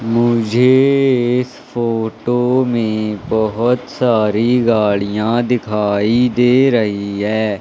मुझे इस फोटो में बहुत सारी गाड़ियां दिखाई दे रही है।